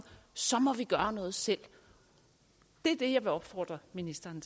så må vi gøre noget selv det er det jeg vil opfordre ministeren